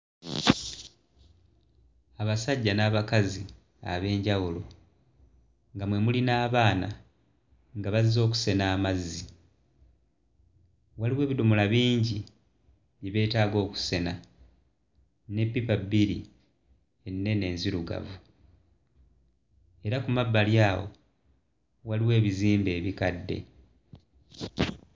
Abasajja n'abakazi ab'enjawulo nga mwe muli n'abaana nga bazze okusena amazzi waliwo ebidomola bingi bye beetaaga okusena n'eppipa bbiri ennene enzirugavu era ku mabbali awo waliwo ebizimbe ebikadde